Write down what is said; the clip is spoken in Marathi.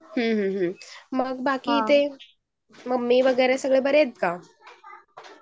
हम्म बाकी ममी वगैरे बरे आहेत का?